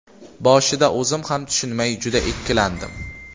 Boshida o‘zim ham tushunmay juda ikkilandim.